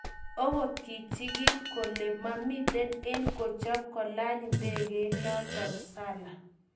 Ogot kichigil kole mamiten en kochop kolany indegeit noton sala.